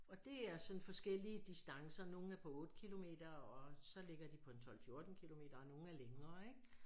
Og det er sådan forskellige distancer nogen er på 8 kilometer og så ligger de på en 12 14 kilometer og nogen er længere ikke